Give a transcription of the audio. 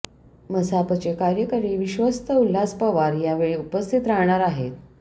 मसापचे कार्यकारी विश्वस्त उल्हास पवार या वेळी उपस्थित राहणार आहेत